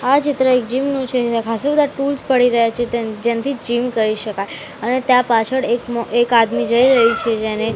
આ ચિત્ર એક જીમ નું છે જ્યાં ખાસ્સા બધા ટૂલ્સ પડી રહ્યા છે તેન જેમથી જીમ કરી શકાય અને ત્યાં પાછળ એક એક આદમી જઈ રહી છે જેણે--